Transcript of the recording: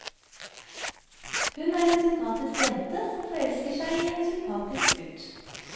Hun er en sympatisk jente som forelsker seg i en sympatisk gutt.